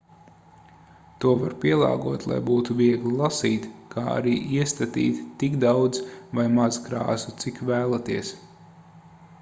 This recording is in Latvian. to var pielāgot lai būtu viegli lasīt kā arī iestatīt tik daudz vai maz krāsu cik vēlaties